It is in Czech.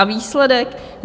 A výsledek?